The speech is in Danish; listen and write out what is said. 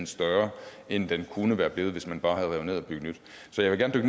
større end den kunne være blevet hvis man bare havde revet ned og bygget nyt så jeg vil